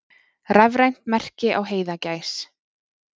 Rafrænt merki á heiðagæs.